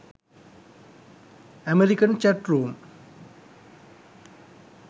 american chat room